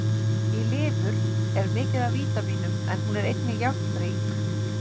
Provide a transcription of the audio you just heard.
Í lifur er mikið af vítamínum en hún er einnig járnrík.